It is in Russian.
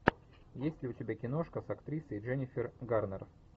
есть ли у тебя киношка с актрисой дженифер гарнер